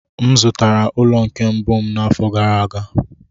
M zụtara ụlọ nke mbụ m n'afọ gara aga.